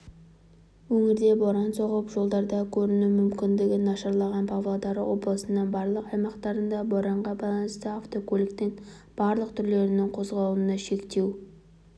өңірде боран соғып жолдардакөрінумүмкіндігі нашарлаған павлодар облысының барлық аймақтарында боранға байланысты автокөліктің барлық түрлерінің қозғалысына шектеу